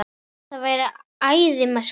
Þú værir æði með skalla!